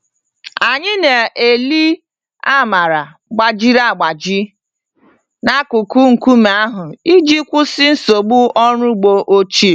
Anyị na-eli amara gbajiri agbaji n'akụkụ nkume ahụ iji kwụsị nsogbu ọrụ ugbo ochie.